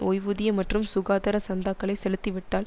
ஓய்வூதிய மற்றும் சுகாதார சந்தாக்களை செலுத்திவிட்டால்